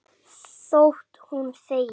Þótt hún þegi.